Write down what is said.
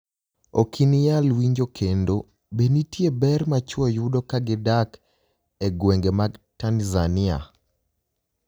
Ok iniyal winijo kenido Be niitie ber ma chwo yudo ka gidak e gwenige mag Tanizaniia?